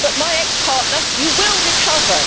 But my ex partner you will recover.